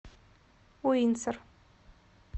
уинсор